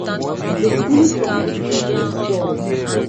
the symptoms fit be sores